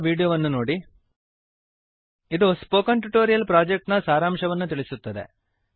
httpspoken tutorialorgWhat is a spoken tutorial ಇದು spoken tutorial project ನ ಸಾರಾಂಶವನ್ನು ತಿಳಿಸುತ್ತದೆ